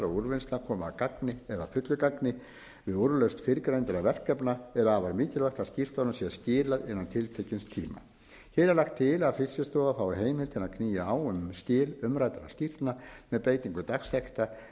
og úrvinnsla komi að gagni eða að fullu gagni við úrlausn fyrrgeindra verkefna er afar mikilvægt að skýrslunum sé skila innan tiltekins tíma hér er lagt til að fiskistofa fái heimild til að knýja á um skil umræddra skýrslna með beitingu dagsekta en